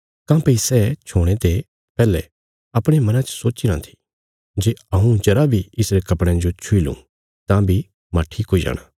काँह्भई सै छोणे ते पैहले अपणे मना च सोच्चीराँ थी जे हऊँ जरा बी इसरे कपड़यां जो छुई लुँ तां बी मांह ठीक हुई जाणा